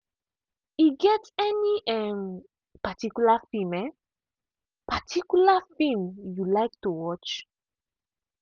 e get any um particular film um particular film you like to watch?